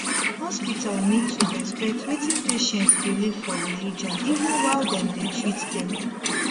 hospital need to respect wetin patient believe for religion even while dem dey treat them